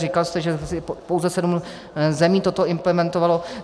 Říkal jste, že pouze sedm zemí toto implementovalo.